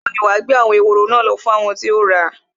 Ìgbà wo ni wà á gbé àwọn ehoro lọ fún àwọn tí o ra?